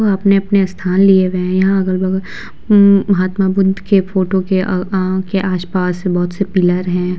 वह अपने-अपने स्थान लिए हुए हैं यहाँ अगल-बगल अम महात्मा बुद्ध के फोटो के आ अ के आस-पास बहोत से पिलर हैं।